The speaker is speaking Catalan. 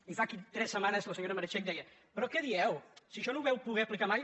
i fa tres setmanes la senyo·ra meritxell deia però què dieu si això no ho vau po·der aplicar mai